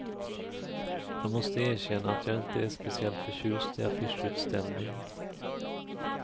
Jag måste erkänna att jag inte är speciellt förtjust i affischutställning.